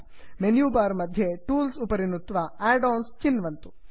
menu bar मध्ये tools उपरि नुत्वा एडन्स् चिन्वन्तु